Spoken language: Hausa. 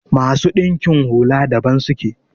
masu dinkin hula daban suke